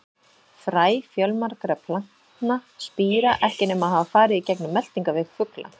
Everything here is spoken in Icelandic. Fræ fjölmargra plantna spíra ekki nema hafa farið í gegnum meltingarveg fugla.